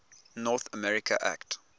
north america act